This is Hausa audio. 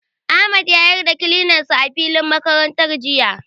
Ahmad ya yar da kilinar sa a filin makarantar jiya.